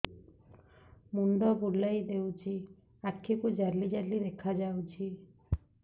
ମୁଣ୍ଡ ବୁଲେଇ ଦେଉଛି ଆଖି କୁ ଜାଲି ଜାଲି ଦେଖା ଯାଉଛି